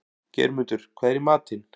Geirmundur, hvað er í matinn?